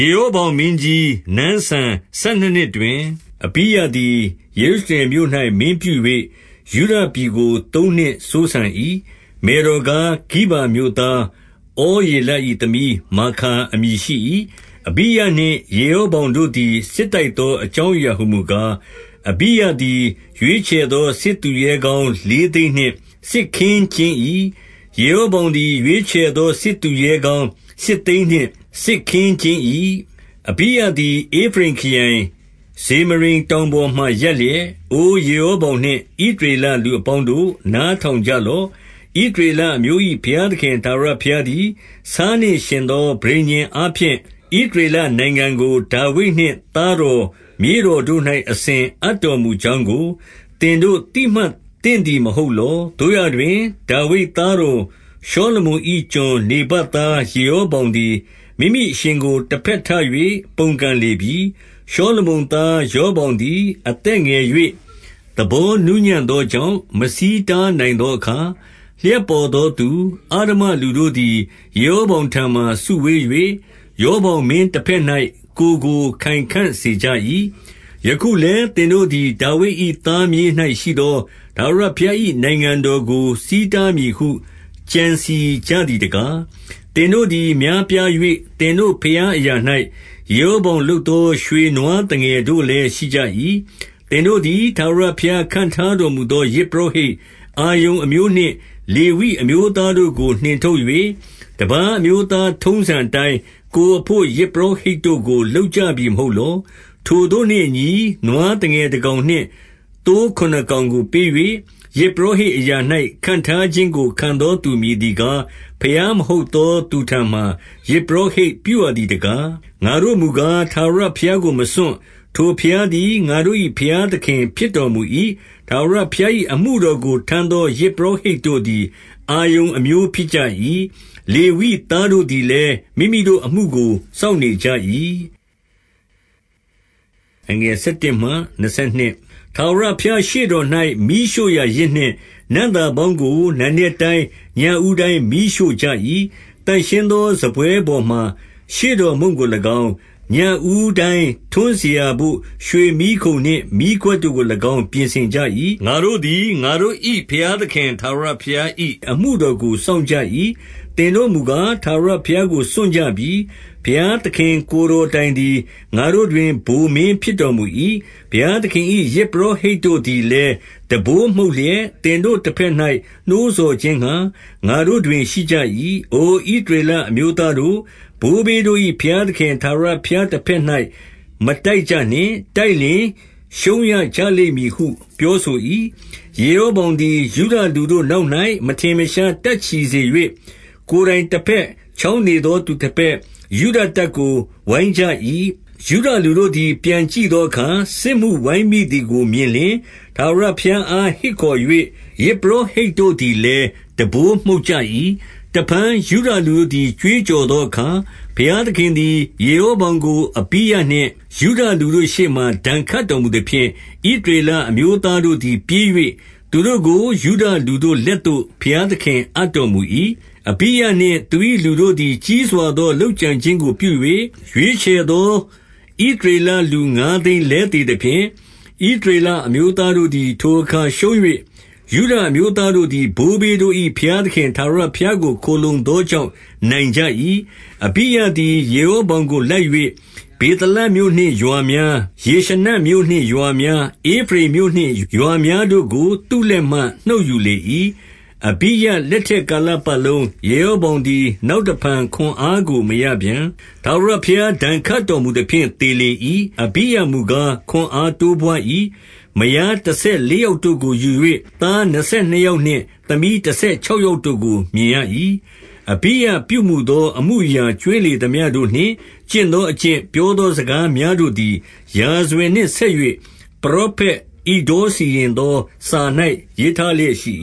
ယေရောဗောင်မင်းကြီး နန်းစံဆယ်နှစ်နှစ်တွင် အဘိယသည် ယေရုရှလင်မြို့၌မင်းပြု၍၊ 2 ယုဒပြည်ကို သုံးနှစ်စိုးစံ၏။ မယ်တော်ကား၊ ဂိဗာမြို့သားဩရေလ၏ သမီးမာခါအမည်ရှိ၏။ အဘိယနှင့် ယေရောဗောင်တို့သည် စစ်တိုက် သောအကြောင်းအရာဟူမူကား၊ 3 အဘိယသည် ရွေးချယ်သော စစ်သူရဲကောင်း လေးသိန်းနှင့် စစ်ခင်းကျင်၏။ ယေရောဗောင်သည် ရွေးချယ်သောစစ်သူရဲကောင်းရှစ်သိန်းနှင့် စစ်ခင်း ကျင်း၏။ 4 အဘိယသည် ဧဖရိမ်ခရိုင်၊ ဇေမရိမ်တောင် ပေါ်မှာ ရပ်လျက်၊ အိုယေရောဗောင်နှင့် ဣသရေလလူ အပေါင်းတို့၊ နားထောင်ကြလော့။ 5 ဣသရေလအမျိုး၏ ဘုရားသခင် ထာဝရဘုရား သည် ဆားနှင့် ယှဉ်သောပဋိညာဉ်အားဖြင့်၊ ဣသရေလ နိုင်ငံကို ဒါဝိဒ်နှင့်သားတော် မြေးတော်တို့၌အစဉ် အိပ်တော်မူကြောင်းကို၊ သင်တို့သိမှတ်သင့်သည် မဟုတ်လော။ 6 သို့ရာတွင်၊ ဒါဝိဒ်သားတော်ရှောလမုန်၏ ကျွန်နေဗတ်သားယေ ရောဗောင်သည်၊ မိမိအရှင်ကို တဘက်ထ၍ပုန်ကန်လေပြီ။ 7 ရှောလမုန်သားရောဗောင်သည် အသက်ငယ်၍ သဘောနူးညံ့သောကြောင့်၊ မဆီးတားနိုင်သောအခါ၊ လှပ်ပေါ်သောသူ၊ အစမ္မလူတို့သည် ယေရောဗောင်ထံမှာ စုဝေး၍၊ ရောဗောင်မင်းတဘက်၌ ကိုယ်ကို ခိုင်ခံ့စေ ကြ၏။ 8 ယခုလည်း သင်တို့သည် ဒါဝိဒ်၏သားမြေး၌ ရှိသော ထာဝရဘုရား၏ နိုင်ငံတော်ကို ဆီးတားမည်ဟု ကြံစည်ကြသည်တကား၊ သင်တို့သည် များပြား၍ သင်တို့ ဘုရားအရာ၌၊ ယေရောဗောင်လုပ်သော ရွှေနွားသငယ် တို့လည်းရှိကြ၏။ 9 သင်တို့သည် ထာဝရဘုရားခန့်ထားတော်မူ သော ယဇ်ပုရောဟိတ်၊ အာရုန်အမျိုးနှင့် လေဝိအမျိုးသား တို့ကိုနှင်ထုတ်၍၊ တပါးအမျိုးသားထုံးစံအတိုင်း၊ ကိုယ်အဘို့ ယဇ်ပူရောဟိတ်တို့ကို လုပ်ကြပြီမဟုတ်လော။ ထိုသို့နှင့်အညီ၊ နွားသငယ်တကောင်နှင့် သိုးခုနစ်ကောင် ကို ပေး၍၊ ယဇ်ပုရောဟိတ်အရာ၌ ခန့်ထားခြင်းကို ခံသော သူမည်သည်ကား၊ ဘုရားမဟုတ်သောသူထံမှာ ယဇ်ပုရောဟိတ်ပြုရသည်တကား။ 10 ငါတို့မူကား၊ ထာဝရဘုရားကိုမစွန့်။ ထိုဘုရား သည် ငါတို့၌ ဘုရားသခင်ဖြစ်တော်မူ၏။ ထာဝရဘုရား ၏အမှုတော်ကို ထမ်းသောယဇ်ပုရောဟိတ်တို့သည် အာရုန်အမျိုးဖြစ်ကြ၏။ လေဝိသားတို့သည်လည်း၊ မိမိတို့ အမှိုကို စောင့်နေကြ၏။ 11 ထာဝရဘုရားရှေ့တော်၌၊ မီးရှို့ရာယဇ်နှင့် နံ့သာပေါင်းကို နံနက်တိုင်း၊ ညဦးတိုင်းမီးရှို့ကြ၏။ သန့်ရှင်းသော စားပွဲပေါ်မှာ ရှေ့တော်မုန့်ကို၎င်း၊ ညဦး တိုင်းထွန်းစရာဘို့ရွှေမီးခုံနှင့် မီးခွက်တို့ကို၎င်း ပြင်ဆင်ကြ ၏။ ငါတို့သည် ငါတို့၏ဘုရားသခင် ထာဝရဘုရား၏ အမှုတော်ကို စောင့်ကြ၏။ သင်တို့မူကား၊ ထာဝရဘုရား ကို စွန့်ကြပြီ။ 12 ဘုရားသခင် ကိုယ်တော်တိုင်သည်၊ ငါတို့တွင် ဗိုလ်မင်းဖြစ်တော်မူ၏။ ဘုရားသခင်၏ ယဇ်ပုရောဟိတ် တို့သည်လည်း၊ တံပိုးမှုတ်လျက် သင်တို့တဘက်၌ နှိုးဆော် ခြင်းငှါ၊ ငါတို့တွင်ရှိကြ၏။ အိုဣသရေလအမျိုးသားတို့၊ ဘိုးဘေးတို့၏ဘုရားသခင် ထာဝရဘုရားတဘက်၌ မတိုက်ကြနှင့်။ တိုက်လျှင်ရှုံးရကြလိမ့်မည်ဟု ပြောဆို၏။ 13 ယေရောဗောင်သည် ယုဒလူတို့နောက်၌ မထင် မရှားတပ်ချီစေ၍၊ ကိုယ်တိုင်တဘက်၊ ချောင်းနေသောသူတဘက်၊ ယုဒတပ်ကိုဝိုင်းကြ၏။ 14 ယုဒလူတို့သည် ပြန်ကြည့်သောအခါ၊ စစ်မှုဝိုင်း မိသည်ကိုမြင်လျှင်၊ ထာဝရဘုရားအားဟစ်ခေါ်၍၊ ယဇ် ပုရောဟိတ်တို့သည်လည်း တံပိုးမှုတ်ကြ၏။ 15 တဖန်ယုဒလူတို့သည် ကြွေးကြော်သောအခါ၊ ဘုရားသခင်သည် ယေရောဗောင်ကို အဘိယနှင့် ယုဒလူတို့ ရှေ့မှာ ဒဏ်ခတ်တော်မူသဖြင့်၊ 16 ဣသရေလအမျိုးသားတို့သည် ပြေး၍၊ သူတို့ကို ယုဒလူတို့လက်သို့ ဘုရားသခင်အပ်တော်မူ၏။ 17 အဘိယနှင့် သူ၏လူတို့သည် ကြီးစွာသော လုပ်ကြံခြင်းကိုပြု၍၊ ရွေးချယ်သော ဣသရေလလူ ငါးသိန်းလဲသေသဖြင့်၊ 18 ဣသရေလအမျိုးသားတို့သည်၊ ထိုအခါရှုံး၍၊ ယုဒအမျိုးသားတို့သည် ဘိုးဘေးတို့၏ ဘုရားသခင် ထာဝရဘုရားကို ခိုလှုံသောကြောင့် နိုင်ကြ၏။ 19 အဘိယသည် ယေရောဗောင်ကို လိုက်၍၊ ဗေသလမြို့နှင့်ရွာများ၊ ယေရှနမြို့နှင့်ရွာများ၊ ဧဖရိမ်မြို့ နှင့်ရွာများတို့ကို သူ့လက်မှနှုတ်ယူလေ၏။ 20 အဘိယလက်ထက် ကာလပတ်လုံး၊ ယေရော ဗောင်သည် နောက်တဖန်ခွန်အားကို မရပြန်။ ထာဝရ ဘုရားဒဏ်ခတ်တော်မူသဖြင့် သေလေ၏။ 21 အဘိယမူကား ခွန်အားတိုးပွါး၏။ မယား တဆယ်လေးယောက်တို့ကိုယူ၍ သားနှစ်ဆယ်နှစ် ယောက်နှင့် သမီးတဆယ်ခြောက်ယောက်တို့ကို မြင်ရ၏။ 22 အဘိယပြုမူသောအမှုအရာ ကြွင်းလေသမျှတို့ နှင့် ကျင့်သောအကျင့်၊ ပြောသောစကားများတို့သည်၊ ရာဇဝင်နှင့်ဆက်၍ ပရောဖက်ဣဒ္ဒေါစီရင်သော စာ၌ ရေးထားလျက်ရှိ